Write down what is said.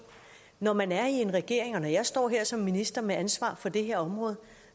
når man er i regering og når jeg står her som minister med ansvar for det her område